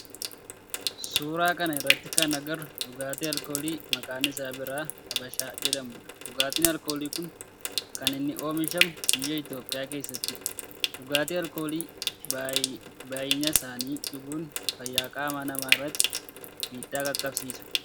Suuraa kana irratti kan agarru dhugaatii alkoolii maqaan isaa biiraa habashaa jedhamudha. Dhugaatin alkoolii kun kan inni oomishamu biyya Itiyoophiyaa keessattidha. Dhugaatii alkoolii baayyisanii dhuguun fayyaa qaama namaa irratti miidhaa qaqqabsiisa.